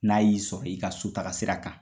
N'a y'i sɔrɔ i ka so taga sira kan